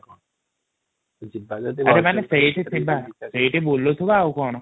ଆରେ ଆମେ ସେଇଠି ବୁଲୁଥିବା ଆଉ କଣ